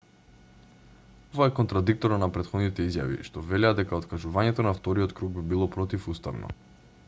ова е контрадикторно на претходните изјави што велеа дека откажувањето на вториот круг би било противуставно